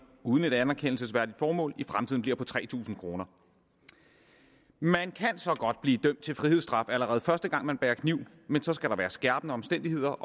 uden et anerkendelsesværdigt formål i fremtiden bliver på tre tusind kroner man kan så godt blive dømt til frihedsstraf allerede første gang man bærer kniv men så skal der være skærpende omstændigheder